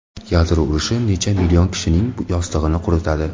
Yadro urushi necha million kishining yostig‘ini quritadi?